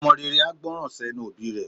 Ọmọ rere a gbọ́nran sẹ́nu òbí rẹ̀.